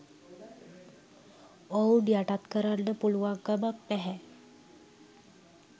ඔවුන් යටත් කරන්න පුළුවන්කමක් නැහැ.